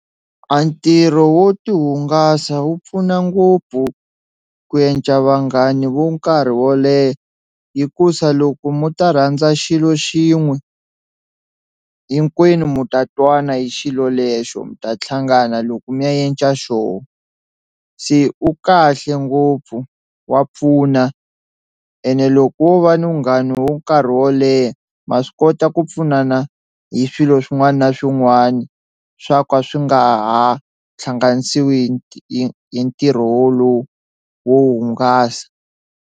A ntirho wo tihungasa wu pfuna ngopfu ku enca vanghani vo nkarhi wo leha hikusa loko mo ta rhandza xilo xin'we hinkwenu mu ta twana hi xilo lexo mi ta tlhangana loko mi ya enca xoho, se u kahle ngopfu wa pfuna ene loko wo va na vunghana wo nkarhi wo leha ma swi kota ku pfunana hi swilo swin'wana na swin'wana swa ka swi nga ha tlhanganisiwi hi hi ntirho wolowo wo hungasa.